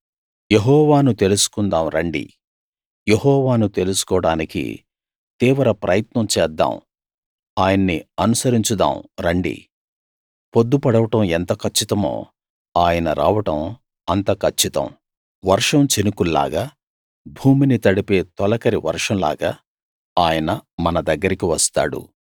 యెహోవాను తెలుసుకుందాం రండి యెహోవాను తెలుసుకోడానికి తీవ్ర ప్రయత్నం చేద్దాం ఆయన్ని అనుసరించుదాము రండి పొద్దు పొడవడం ఎంత కచ్చితమో ఆయన రావడం అంత కచ్చితం వర్షం చినుకుల్లాగా భూమిని తడిపే తొలకరి వర్షంలాగా ఆయన మన దగ్గరికి వస్తాడు